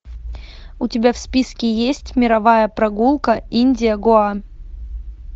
у тебя в списке есть мировая прогулка индия гоа